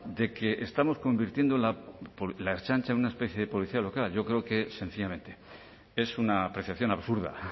de que estamos convirtiendo la ertzaintza en una especie de policía local yo creo que sencillamente es una apreciación absurda